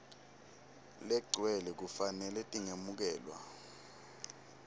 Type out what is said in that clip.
legcwele kufanele tingemukelwa